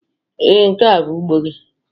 Ee, nke a bụ ugbo gị.